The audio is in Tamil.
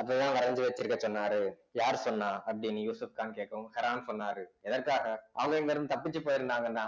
அப்பதான் வரைஞ்சு வச்சிருக்க சொன்னாரு யார் சொன்னா அப்படின்னு யூசப்கான் கேக்கவும் ஹெரான் சொன்னாரு எதற்காக அவங்க இங்கிருந்து தப்பிச்சு போயிருந்தாங்கன்னா